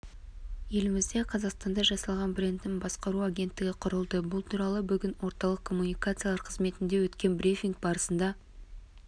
елімізде қазақстанда жасалған брендін басқару агенттігі құрылды бұл туралы бүгін орталық коммуникациялар қызметінде өткен брифинг барысында